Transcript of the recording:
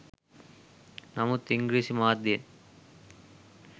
නමුත් ඉංග්‍රීසි මාධ්‍යයෙන්